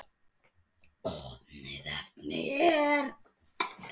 Opið efni er